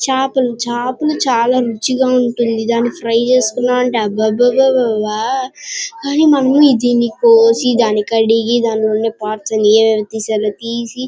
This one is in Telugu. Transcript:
చాపలు చాపలు చాలా రుచిగా ఉంటుంది. దాని ఫ్రై చేసుకున్నామంటే అబ్బాబబాబ్బా అరిరే మమ్మీ దీన్ని కోసి దాన్ని కడిగి దానిలోని పార్ట్శ్ అని తీసి-